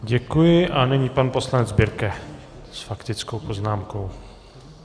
Děkuji a nyní pan poslanec Birke s faktickou poznámkou.